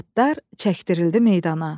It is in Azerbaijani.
Atlar çəkdirildi meydana.